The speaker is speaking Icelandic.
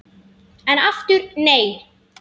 En aftur nei!